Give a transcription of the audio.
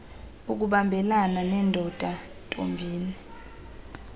ukubambelana neendoda ntombini